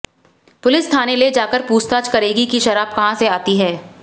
police थाने ले जाकर पुछताछ करेगी कि शराब कहां से आती है